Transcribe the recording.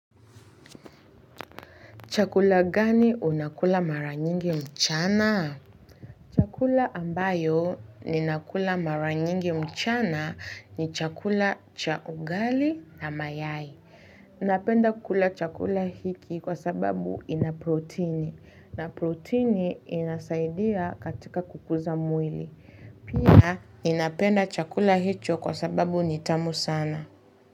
Chakula gani unakula mara nyingi mchana? Chakula ambayo ninakula mara nyingi mchana ni chakula cha ugali na mayai. Napenda kula chakula hiki kwa sababu ina protini na protini inasaidia katika kukuza mwili. Pia ninapenda chakula hicho kwa sababu ni tamu sana.